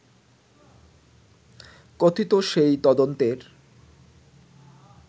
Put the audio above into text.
কথিত সেই তদন্তের